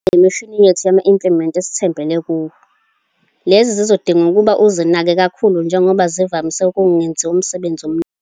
Lena yimishini yethu nama-implement esithembele kuwo. Lezi zizodinga ukuba uzinake kakhulu njengoba zivamise ukungenzi umusebenzi omningi.